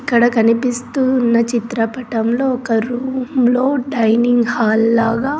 ఇక్కడ కనిపిస్తూ ఉన్న చిత్రపటంలో ఒక రూమ్లో డైనింగ్ హాల్ లాగా.